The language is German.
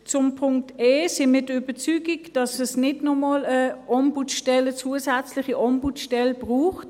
Beim Punkt e sind wir der Überzeugung, dass es auf kantonaler Ebene nicht noch einmal eine Ombudsstelle, eine zusätzliche Ombudsstelle braucht.